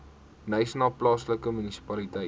knysna plaaslike munisipaliteit